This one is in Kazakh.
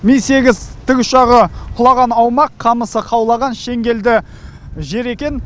ми сегіз тікұшағы құлаған аумақ қамысы қаулаған шеңгелді жер екен